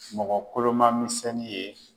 Mɔgɔ koloma misɛnnin ye.